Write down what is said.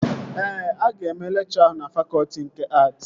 Ee, aga eme lekchọ ahụ na fakọtị nke att